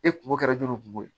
E kunko kɛra joli kungo ye